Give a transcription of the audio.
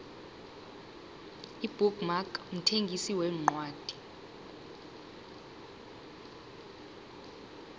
ibook mark mthengisi wencwadi